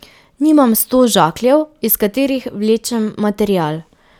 Nimam sto žakljev, iz katerih vlečem material.